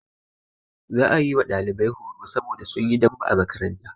Za a yi wa ɗalibai horo saboda sun yi dambe a makaranta.